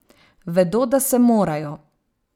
Vedo, da se morajo.